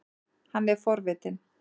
Hann er forvitinn.